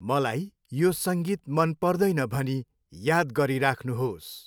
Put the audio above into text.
मलाई यो सङ्गीत मन पर्दैन भनी याद गरिराख्नुहोस्।